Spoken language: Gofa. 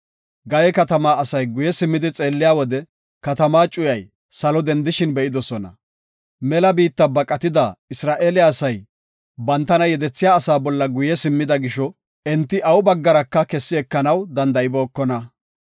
Gaye katamaa asay guye simmidi xeelliya wode, katamaa cuyay salo dendishin be7idosona. Mela biitta baqatida Isra7eele asay, bantana yedethiya asaa bolla guye simmida gisho, enti awu baggaraka kessi ekanaw danda7ibookona.